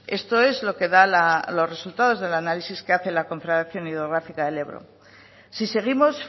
esto es lo que da los resultados del análisis que hace la confederación hidrográfica del ebro si seguimos